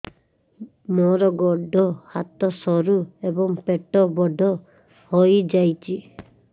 ମୋର ଗୋଡ ହାତ ସରୁ ଏବଂ ପେଟ ବଡ଼ ହୋଇଯାଇଛି